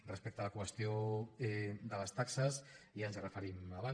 respecte a la qüestió de les taxes ja ens hi referíem abans